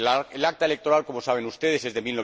El Acta electoral, como saben ustedes, es de